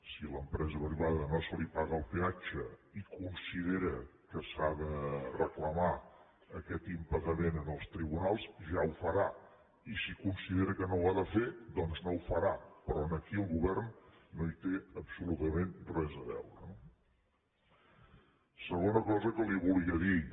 si a l’empresa privada no se li paga el peatge i considera que s’ha de reclamar aquest impagament als tribunals ja ho farà i si considera que no ho ha de fer doncs no ho farà però aquí el govern no hi té absolutament res a veure no segona cosa que li volia dir